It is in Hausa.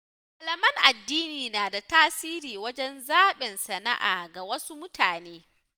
Malaman addini na da tasiri wajen zaɓin sana’a ga wasu mutane.